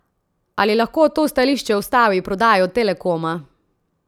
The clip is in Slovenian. Ali lahko to stališče ustavi prodajo Telekoma?